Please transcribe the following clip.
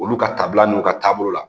Olu ka taabila n'u ka taabolo la